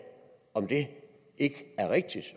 om det ikke er rigtigt